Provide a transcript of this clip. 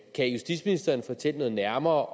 kan justitsministeren fortælle noget nærmere